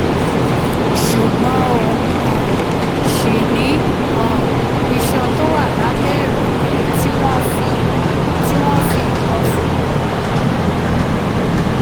ṣùgbọ́n ó um ṣì ní um iṣan tó wà lábẹ́ ẹ̀rẹ̀kẹ́ tí wọ́n fi wọ́n fi nǹkan so pọ̀